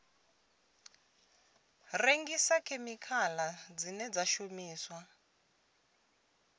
rengisa khemikhala dzine dza shumiswa